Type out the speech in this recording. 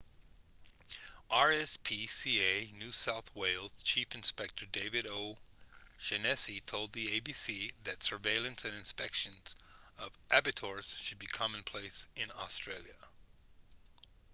rspca new south wales chief inspector david o'shannessy told the abc that surveillance and inspections of abattoirs should be commonplace in australia